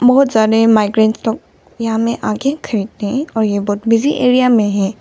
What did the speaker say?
बहुत सारे माइग्रेंट लोग यहां में आके खरीदते हैं और यह बहोत बिजी एरिया में है।